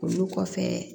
Olu kɔfɛ